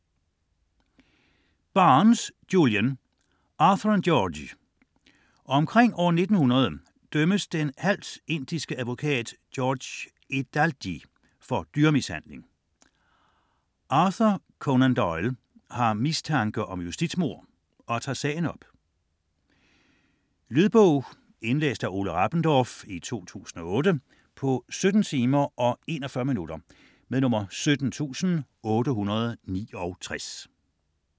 Barnes, Julian: Arthur & George Omkring år 1900 dømmes den halvt indiske advokat George Edalji for dyremishandling. Arthur Conan Doyle har mistanke om justitsmord og tager sagen op. Lydbog 17869 Indlæst af Ole Rabendorf, 2008. Spilletid: 17 timer, 41 minutter.